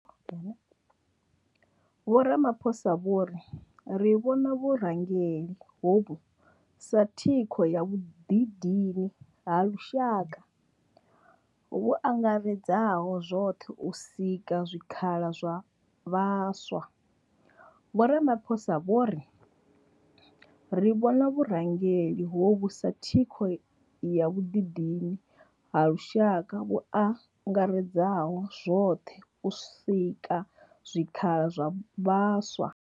Vho Ramaphosa vho ri ri vhona vhurangeli hovhu sa thikho ya vhuḓidini ha lushaka vhu angaredzaho zwoṱhe u sika zwikhala zwa vhaswa. Vho Ramaphosa vho ri ri vhona vhurangeli hovhu sa thikho ya vhuḓidini ha lushaka vhu angaredzaho zwoṱhe u sika zwikhala zwa vhaswa.